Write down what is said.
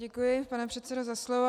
Děkuji, pane předsedo, za slovo.